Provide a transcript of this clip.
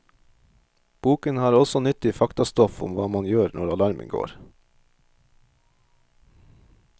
Boken har også nyttig faktastoff om hva man gjør når alarmen går.